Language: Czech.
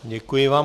Děkuji vám.